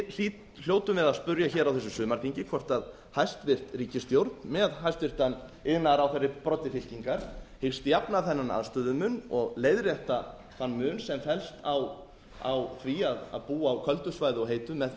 hljótum við að spyrja á þessu sumarþingi hvort hæstvirt ríkisstjórn með hæstvirtur iðnaðarráðherra í broddi fylkingar hyggst jafna þennan aðstöðumun og leiðrétta þann mun sem felst í því að búa á köldu svæði og heitu með